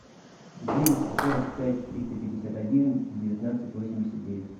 девять сто сорок пять триста пятьдесят один девятнадцать восемьдесят девять